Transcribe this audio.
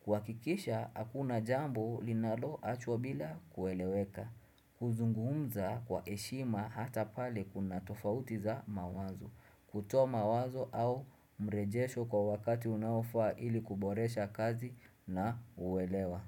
Kuhakikisha, hakuna jambo linalo achwa bila kueleweka. Kuzungumza kwa heshima hata pale kuna tofautiza mawazo kutoa mawazo au mrejesho kwa wakati unaofa ili kuboresha kazi na uwelewa.